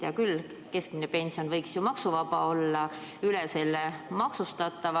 Hea küll, keskmine pension võiks ju maksuvaba olla, aga üle selle maksustatav.